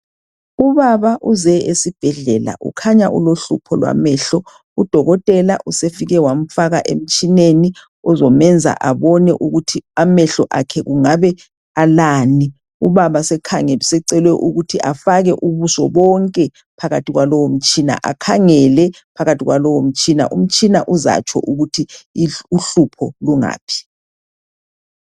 Ubaba uze esibhedlela ukhanya ulohlupho lwamehlo udokotela usefike wamfaka emtshineni ozomenza abone ukuthi amehlo akhe kungabe alani ubaba sekhange usecelwe ukuthi afake ubuso bonke phakathi kwalowo mtshina akhangele phakathi kwalowo mtshina, umtshina uzatsho ukuthi uhlupho lungaphi.